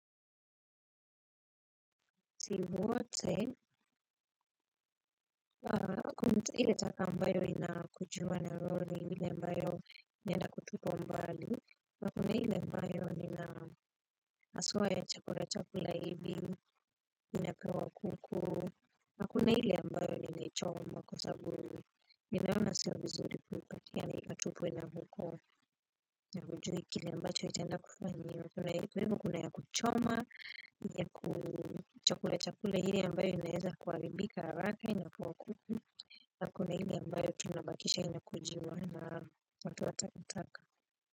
Ile taka ambayo ina kujuma na roro ni hile mbayo ina kutupwa mbali na kuna hile mbayo ina aswa ya chakula chakula hivi inapewa kuku nakuna hile mbayo ina choma kwasabu ninaona siyo vizuri kupatia na ikatupwe na huko haujui kile mbacho itanda kufanyia kuna webu kuna ya kuchoma ya chakula chakula hile mbayo inaeza kualibika haraka inakuwa kuku. Na kuna ile ambayo tunabakisha ina kujiwa na watu wa takataka.